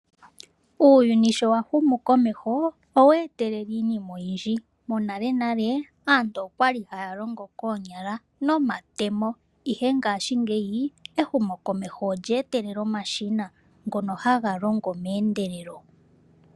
Uuyni sho wahumu komeho oweetelele iinima oyindji. Monalenale aantu okwa li haya longo koonyala nomatemo ihe ngaashingeyi ehumokomeho olyeetelela omashina ngono haga longo meendelelo.